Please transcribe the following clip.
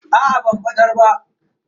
Aa ban batar ba.